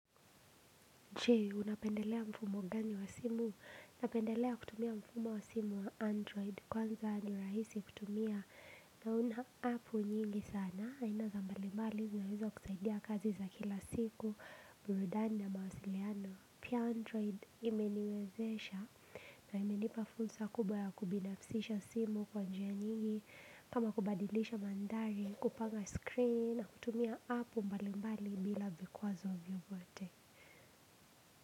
Jee, unapendelea mfumo gani wa simu, unapendelea kutumia mfumo wa simu wa android, kwanza ni rahisi kutumia na una apu nyingi sana, aina za mbali mbali zinaweza kusaidia kazi za kila siku, burudani na mawasiliano. Pia android imeniwezesha na imenipafulsa kubwa ya kubinafsisha simu kwa njia nyingi, kama kubadilisha mandhari, kupanga screen, na kutumia app mbali mbali bila vikwazo vyovyote.